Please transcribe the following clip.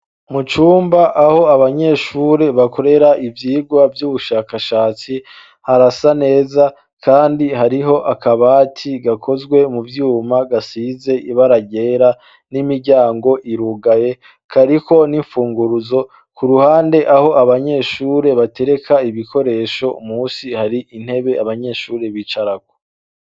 Mu cumba aho abanyeshuri bakorera ivyigwa vy'ubushakashatsi harasa neza kandi hariho akabati gakozwe mu vyuma gasize ibara ryera n'imiryango irugaye kariko n'imfunguruzo ku ruhande aho abanyeshure batereka ibikoresho munsi hari intebe abanyeshure bicarako.